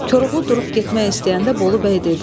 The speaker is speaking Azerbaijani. Koroğlu durub getmək istəyəndə Bolu bəy dedi: